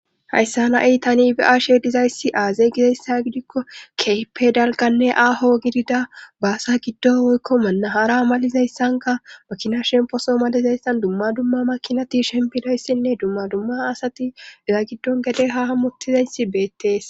hayssa nai tani bi7ashe dizayssi aazey gizayssa gidikko keype dalganne aaho gidida baasa giddon woykko manna hara malizayssanka makina shemposo malizayssan dumma dumma makinati shempinoyssinne dumma dumma asati iza giddon gede ha hammutizeysi beettees